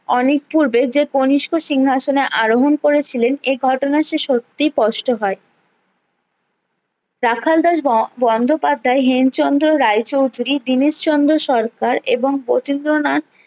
অনেক পূর্বে যে কনিস্ক সিংহাসনে আরোহণ করেছিলেন এ ঘটনা যে সত্যি স্পষ্ট হয়ে রাখাল দাস বন্দোপাধ্যায় হেম চন্দ্র রায়চৌধুরী দীনেশ চন্দ্র সরকার এবং প্রতিন্দ্রনাথ